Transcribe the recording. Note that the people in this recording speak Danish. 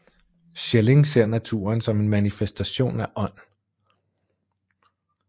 Schelling ser naturen som en manifestation af ånd